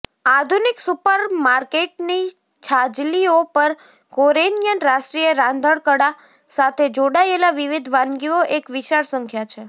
આધુનિક સુપરમાર્કેટની છાજલીઓ પર કોરિયન રાષ્ટ્રીય રાંધણકળા સાથે જોડાયેલા વિવિધ વાનગીઓ એક વિશાળ સંખ્યા છે